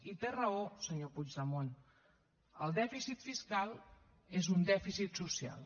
i té raó senyor puigdemont el dèficit fiscal és un dèficit social